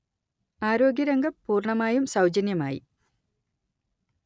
ആരോഗ്യരംഗം പൂർണ്ണമായും സൗജന്യമായി